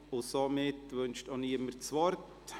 Somit wünscht auch niemand das Wort.